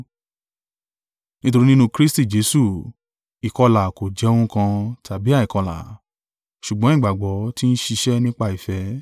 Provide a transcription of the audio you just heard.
Nítorí nínú Kristi Jesu, ìkọlà kò jẹ́ ohun kan, tàbí àìkọlà; ṣùgbọ́n ìgbàgbọ́ ti ń ṣiṣẹ́ nípa ìfẹ́.